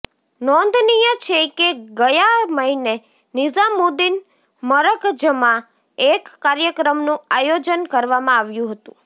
નોંધનીય છે કે ગયા મહિને નિઝામુદ્દીન મરકજમાં એક કાર્યક્રમનું આયોજન કરવામાં આવ્યું હતું